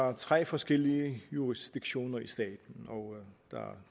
er tre forskellige jurisdiktioner